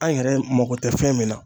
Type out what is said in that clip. An yɛrɛ mako tɛ fɛn min na